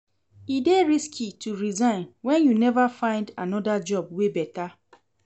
E dey risky to resign wen you neva find anoda job wey beta.